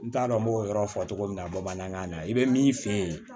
N t'a dɔn n b'o yɔrɔ fɔ cogo min na bamanankan na i be min f'i ye